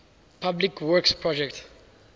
public works projects